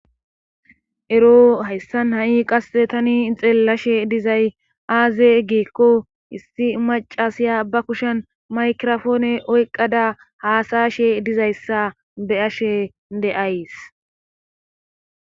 Ero hayssan ha'i qasse tani xeellashe dizay aaze eggeekko issi macasiya ba kushen maykirofoone oyqqada haasayashe dizayssa be ashe deays